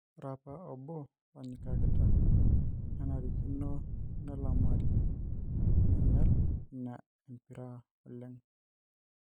Ore apa obo lonyikakita nenarikino nelamari neinyal in a empira oleng'